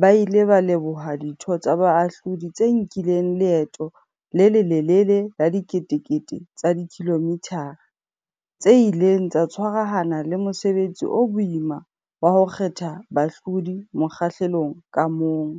ba ile ba leboha ditho tsa Baahlodi tse nkileng leeto le lelelele la diketekete tsa dikilomithara, tse ileng tsa tshwarahana le mosebetsi o boima wa ho kgetha bahlodi mokgahlelong ka mong.